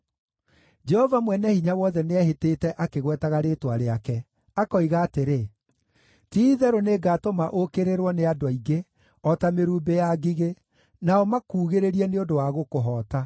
Jehova Mwene-Hinya-Wothe nĩehĩtĩte akĩgwetaga rĩĩtwa rĩake, akoiga atĩrĩ: Ti-itherũ nĩngatũma ũũkĩrĩrwo nĩ andũ aingĩ o ta mĩrumbĩ ya ngigĩ, nao makuugĩrĩrie nĩ ũndũ wa gũkũhoota.